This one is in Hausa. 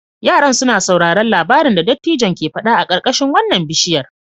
Yaran suna sauraron labarin da dattijon ke fada a karkashin wannan bishiyar.